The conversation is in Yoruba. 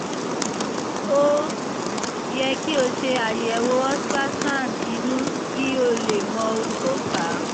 ó yẹ kí o ṣe àyẹ̀wò ultrasound inú kí o lè mọ ohun tó fà á